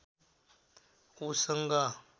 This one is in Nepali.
ऊ सँग